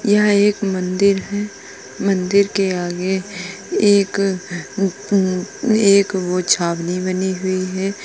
यह एक मंदिर है। मंदिर के आगे एक एक वो छावनी बनी हुई है।